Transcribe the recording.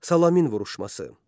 Salamin vuruşması.